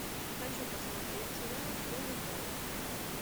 хочу посмотреть сериал ганнибал